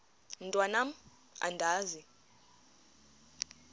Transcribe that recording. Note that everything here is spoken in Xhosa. mntwan am andizi